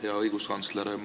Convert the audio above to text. Hea õiguskantsler!